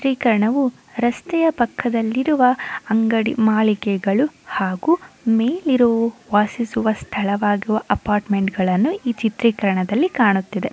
ಚಿತ್ರೀಕರಣವು ರಸ್ತೆಯ ಪಕ್ಕದಲ್ಲಿರುವ ಅಂಗಡಿ ಮಾಳಿಕೆಗಳು ಹಾಗು ಮೇಲಿರೋ ವಾಸಿಸುವ ಸ್ಥಳದ ಅಪಾರ್ಟ್ಮೆಂಟ್ಗಳು ಹಾಗೆ ಈ ಚಿತ್ರೀಕರಣದಲ್ಲಿ ಕಾಣಿಸುತ್ತಿದೆ.